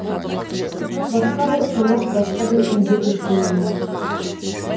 басқа бір қонақ басқа бір үйге көшкендей